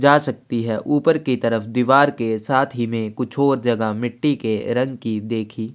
जा सकती है ऊपर की तरफ दिवार के साथ ही में कुछ और जगह मिट्टी के रंग की देखी--